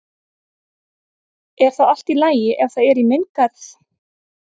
Er það allt í lagi ef það er í minn garð?